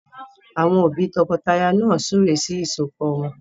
Àwọn òbí tọkọtaya náà súre sí ìsọpọ̀ wọn